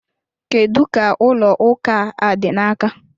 Kedu ka ụlọ ụka a dị n'aka?